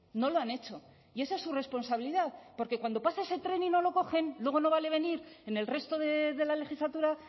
no lo han hecho y esa es su responsabilidad porque cuando pasa ese tren y no lo cogen luego no vale venir en el resto de la legislatura